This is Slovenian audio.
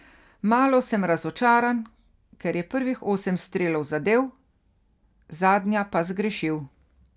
Malo sem razočaran, ker je prvih osem strelov zadel, zadnja pa zgrešil.